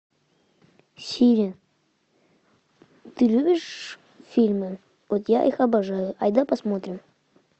сири ты любишь фильмы вот я их обожаю айда посмотрим